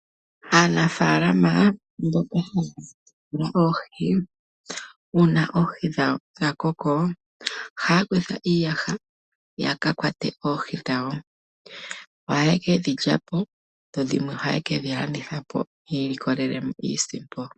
Aanafaalama mboka haya munu oohi, uuna oohi dhawo dha koko, ohaya kutha iiyaha yaka kwate oohi dhawo. Ohaye kedhi lya po, dho dhimwe ohaye kedhi landithapo yiilikolelemo iisimpo.